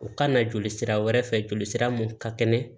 U ka na joli sira wɛrɛ fɛ jolisira mun ka kɛnɛ